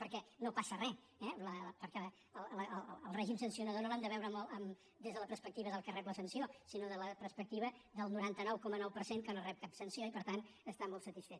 perquè no passa res eh perquè el règim sancionador no l’hem de veure des de la perspectiva del que rep la sanció sinó des de la perspectiva del noranta nou coma nou per cent que no rep cap sanció i per tant està molt satisfet